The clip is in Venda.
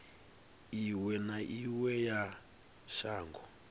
iwe na iwe ya shango